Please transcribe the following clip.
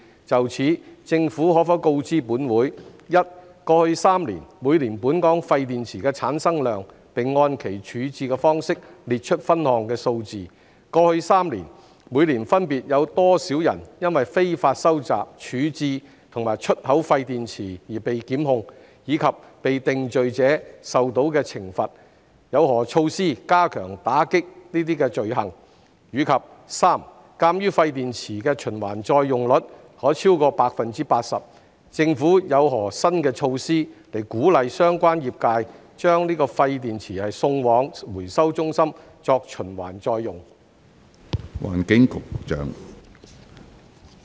就此，政府可否告知本會：一過去3年，每年本港廢電池的產生量，並按其處置方式列出分項數字；二過去3年，每年分別有多少人因非法收集、處置和出口廢電池而被檢控，以及被定罪者受到的懲罰；有何措施加強打擊該等罪行；及三鑒於廢電池的循環再用率可超過百分之八十，政府有何新措施鼓勵相關業界把廢電池送往回收中心作循環再用？